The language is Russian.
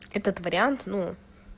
этот вариант ну